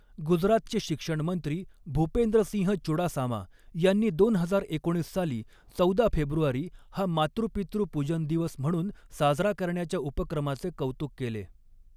गुजरातचे शिक्षण मंत्री भूपेंद्रसिंह चुडासामा यांनी दोन हजार एकोणीस साली, चौदा फेब्रुवारी हा मातृपितृ पूजन दिवस म्हणून साजरा करण्याच्या उपक्रमाचे कौतुक केले.